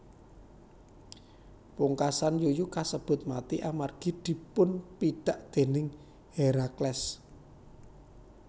Pungkasan yuyu kasebut mati amargi dipunpidak déning Herakles